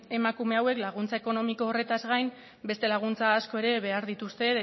emakume hauek laguntza ekonomiko horretaz gain beste laguntza asko ere behar dituzte